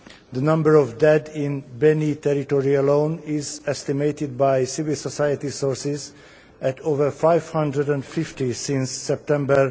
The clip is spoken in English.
The number of dead in Beni territory alone is estimated by civil society sources at over 550 since September